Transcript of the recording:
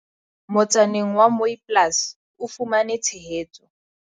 motsaneng wa Mooiplaas o fumane tshehetso